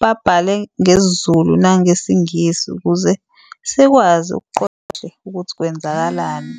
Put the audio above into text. babhale ngesiZulu nangesiNgisi ukuze sikwazi ukuqonda kahle ukuthi kwenzakalani.